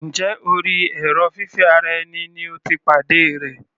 Njẹ́ orí èrò fífẹ́ ara ẹni ni o ti pàdé rẹ̀?